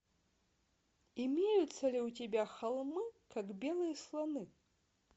имеется ли у тебя холмы как белые слоны